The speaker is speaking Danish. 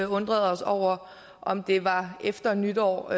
undrede os over om det var efter nytår